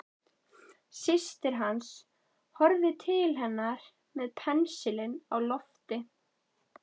Systir hans horfði niður til hans með pensilinn á lofti.